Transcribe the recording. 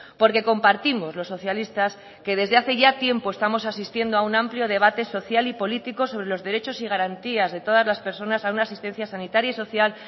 porque compartimos los socialistas que desde hace ya tiempo estamos asistiendo a un amplio debate social y político sobre los derechos y garantías de todas las personas a una asistencia sanitaria y social